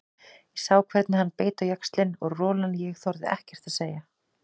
Ég sá hvernig hann beit á jaxlinn og rolan ég þorði ekkert að segja.